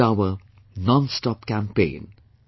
A hundredhour nonstop campaign